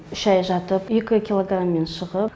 үш ай жатып екі килограммен шығып